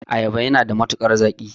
Ayaba yana da matukar zaƙi.